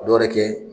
Dɔ wɛrɛ kɛ